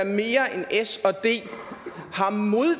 mere end sd